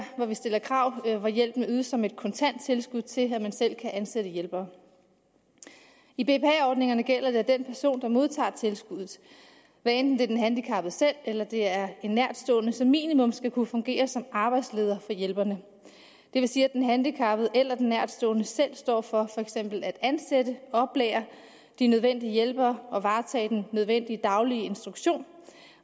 hvor vi stiller krav og hvor hjælpen ydes som et kontant tilskud til at man selv kan ansætte hjælpere i bpa ordningerne gælder det at den person der modtager tilskuddet hvad enten det er den handicappede selv eller det er en nærtstående som minimum skal kunne fungere som arbejdsleder for hjælperne det vil sige at den handicappede eller den nærtstående selv står for for eksempel at ansætte og oplære de nødvendige hjælpere og varetager den nødvendige daglige instruktion